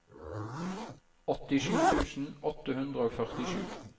åttisju tusen åtte hundre og førtisju